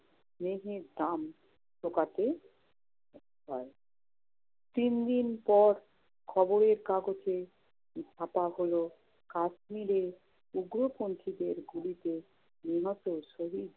স্নেহের দাম চুকাতে হয়। তিনদিন পর খবরের কাগজে ছাপা হল কাশ্মীরে উগ্রপন্থিদের গুলিতে নিহত শহীদ